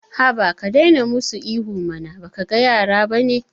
Haba ka daina musu ihu mana baka ga yara bane